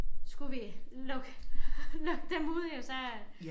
Skulle vi lukke lukke dem ud ja så